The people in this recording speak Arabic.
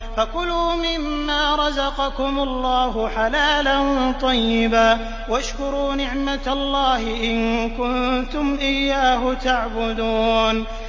فَكُلُوا مِمَّا رَزَقَكُمُ اللَّهُ حَلَالًا طَيِّبًا وَاشْكُرُوا نِعْمَتَ اللَّهِ إِن كُنتُمْ إِيَّاهُ تَعْبُدُونَ